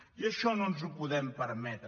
i això no ens ho podem permetre